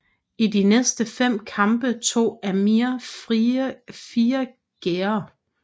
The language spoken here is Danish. I de næste fem kampe tog Amir fire gærder